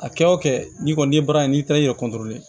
A kɛ o kɛ n'i kɔni ye baara in n'i taara i yɛrɛ